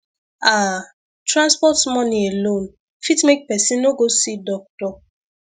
ah transport money alone fit make person no go see see doctor